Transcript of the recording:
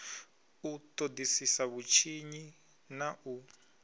u ṱoḓisisa vhutshinyi na u